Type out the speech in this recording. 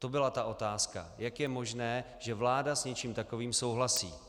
To byla ta otázka: Jak je možné, že vláda s něčím takovým souhlasí?